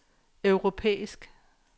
europæisk